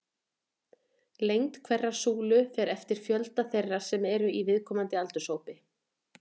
Lengd hverrar súlu fer eftir fjölda þeirra sem eru í viðkomandi aldurshópi.